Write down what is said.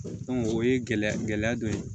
o ye gɛlɛya gɛlɛya dɔ ye